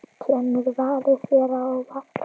Kemur valið þér á óvart?